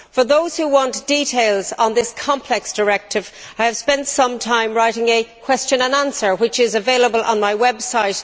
For those who want details on this complex directive, I have spent some time writing a question and answer page, which is available on my website.